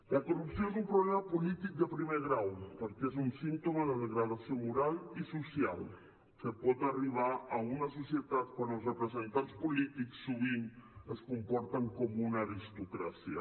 la corrupció és un problema polític de primer grau perquè és un símptoma de la degradació moral i social a que pot arribar a una societat quan els representants polítics sovint es comporten com una aristocràcia